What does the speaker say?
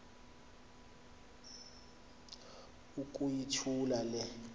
uku yithula le